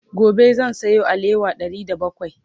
gobe zan Sayo alewa Ɗari da bakwai